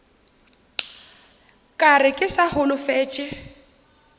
ka re ke sa holofetše